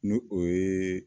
Ni o ye